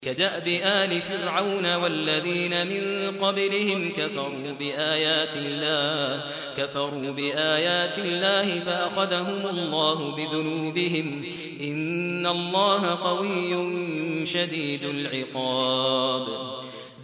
كَدَأْبِ آلِ فِرْعَوْنَ ۙ وَالَّذِينَ مِن قَبْلِهِمْ ۚ كَفَرُوا بِآيَاتِ اللَّهِ فَأَخَذَهُمُ اللَّهُ بِذُنُوبِهِمْ ۗ إِنَّ اللَّهَ قَوِيٌّ شَدِيدُ الْعِقَابِ